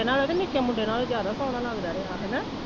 ਵੱਡੇ ਨਾਲੋਂ ਤੇ ਨਿੱਕੇ ਮੁੰਡੇ ਨਾਲੋਂ ਇਹ ਜਿਆਦਾ ਸੋਹਣਾ ਲਗਦਾ ਰਿਹਾ ਹੈਨਾ।